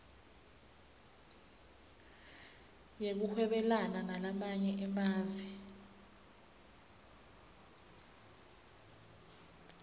yekuhwebelana nalamanye emave